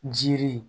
Jiri